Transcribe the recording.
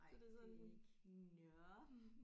Så det er sådan nåh